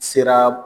Sera